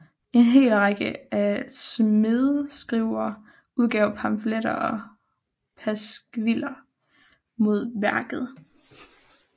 En hel række af smædeskrivere udgav pamfletter og pasqviller mod værket